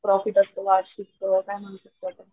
profit असतो वार्षिक काय म्हणू शकतो आपण,